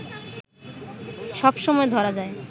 সব সময় ধরা যায়